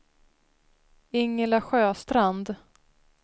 Ingela Sjöstrand